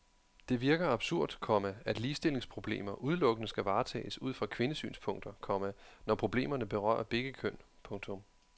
Det virker absurd, komma at ligestillingsproblemer udelukkende skal varetages ud fra kvindesynspunkter, komma når problemerne berører begge køn. punktum